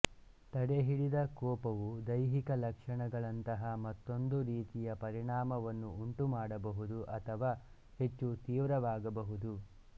ತಡೆಹಿಡಿದ ಕೋಪವು ದೈಹಿಕ ಲಕ್ಷಣಗಳಂತಹ ಮತ್ತೊಂದು ರೀತಿಯ ಪರಿಣಾಮವನ್ನು ಉಂಟುಮಾಡಬಹುದು ಅಥವಾ ಹೆಚ್ಚು ತೀವ್ರವಾಗಬಹುದು